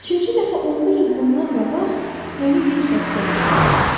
Üçüncü dəfə 11 il bundan qabaq mənə yer xəstəliyi tutdu.